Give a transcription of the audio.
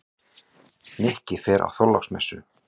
Nikki fer á Þorláksmessu.